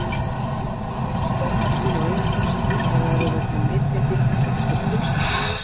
Er Bósi verðmætur á eigin forsendum eða er það vegna nytjagildis hans fyrir fjölskylduna?